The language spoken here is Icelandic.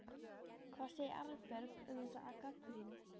Hvað segir Arnbjörg um þessa gagnrýni?